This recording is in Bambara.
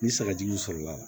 Ni sagajugu sɔrɔla la